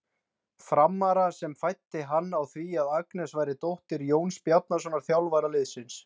Frammara sem fræddi hann á því að Agnes væri dóttir Jóns Bjarnasonar, þjálfara liðsins.